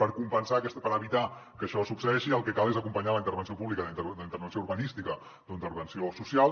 per evitar que això succeeixi el que cal és acompanyar la intervenció pública d’intervenció urbanística o intervenció social